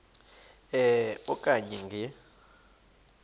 e okanye nge